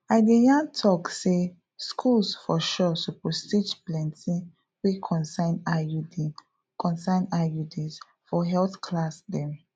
i de yan tok say schools for sure suppose teach plenti wey concern iuds concern iuds for health class dem